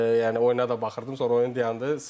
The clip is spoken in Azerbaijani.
Yəni oyuna da baxırdım, sonra oyun dayandı.